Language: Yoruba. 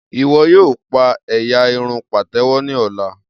Iwọ yoo pa ẹ́yá irun patewo ni ọla.